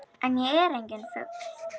En ég er enginn fugl.